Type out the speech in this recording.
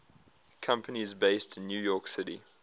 companies based in new york city